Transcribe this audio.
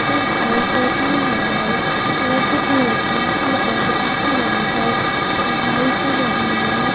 Sir पर टोपियां लगाए और कुछ लड़कियां सर पर दुपट्टा बांधकर पढ़ाई कर रही हैं।